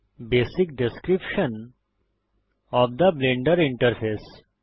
basic description of the Blender interface